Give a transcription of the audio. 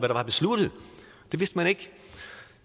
der var besluttet det vidste man ikke